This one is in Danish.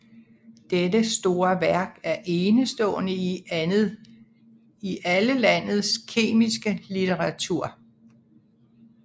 Dette store værk er enestående i alle landes kemiske litteratur